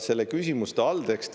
Selle küsimuse alltekst …